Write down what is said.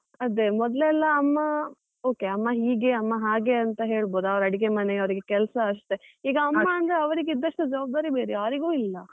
ಅದೇ ಮೊದ್ಲೆಲ್ಲಾ ಅಮ್ಮ okay ಅಮ್ಮ ಹೀಗೆ, ಅಮ್ಮ ಹಾಗೆ ಅಂತ ಹೇಳ್ಬೋದು ಅವರ ಅಡಿಗೆಮನೆ ಅವ್ರಿಗೆ ಕೆಲಸ ಅಷ್ಟೇ, ಈಗ ಅಮ್ಮ ಅಂದ್ರೆ ಅವರಿಗೆ ಇದ್ದಷ್ಟು ಜವಾಬ್ದಾರಿ ಬೇರೆ ಯಾರಿಗೂ ಇಲ್ಲ.